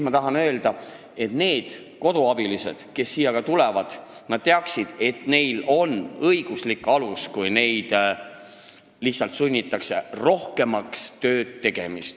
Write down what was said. Ma tahan öelda, et need koduabilised, kes siia tulevad, peavad teadma, et neil on õiguslik alus keelduda, kui neid lihtsalt sunnitakse ettenähtust rohkem tööd tegema.